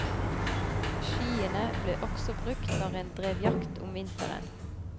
Skiene ble også brukt når en drev jakt om vinteren.